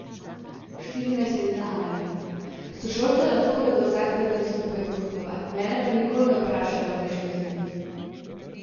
Štirinajstletna Anja: 'Sošolke lahko gredo vsak teden skupaj nakupovat, mene pa nikoli ne vprašajo, ali bi šla z njimi.